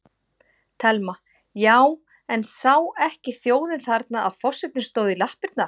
Telma: Já, en sá ekki þjóðin þarna að forsetinn stóð í lappirnar?